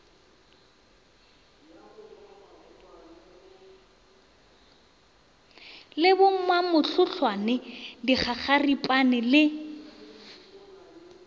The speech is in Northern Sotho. le bo mamohlohlwane dikgakgaripane le